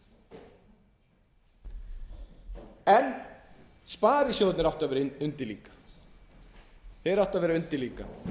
þetta virðulegi forseti ekki neitt en sparisjóðirnir áttu að vera undir líka